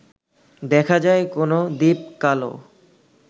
দেখা যায় কোন দ্বীপ-কালো